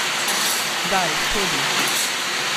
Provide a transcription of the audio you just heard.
Daj, pojdi.